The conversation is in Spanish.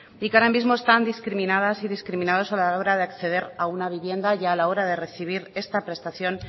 y que ahora mismo están discriminadas y discriminados a la hora de acceder a una vivienda y a la hora de recibir esta prestación